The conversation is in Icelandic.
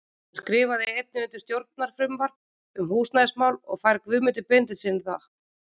Hún skrifar einnig undir stjórnarfrumvarp um húsnæðismál og fær Guðmundi Benediktssyni það.